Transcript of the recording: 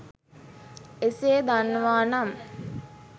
එසේ දන්නවා නම්